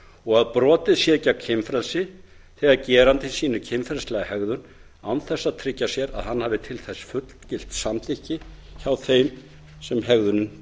og að brotið sé gegn kynfrelsi þegar gerandinn sýnir kynferðislega hegðun án þess að tryggja sér að hann hafi til þess fullgilt samþykki hjá þeim sem hegðunin